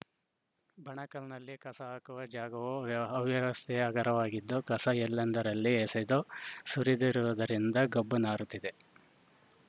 ಬಣಕಲ್‌ನಲ್ಲಿ ಕಸ ಹಾಕುವ ಜಾಗವು ವ್ಯ ಅವ್ಯವಸ್ಥೆಯ ಅಗರವಾಗಿದ್ದು ಕಸ ಎಲ್ಲೆಂದರಲ್ಲಿ ಎಸೆದು ಸುರಿದಿರುವುದರಿಂದ ಗಬ್ಬು ನಾರುತ್ತಿದೆ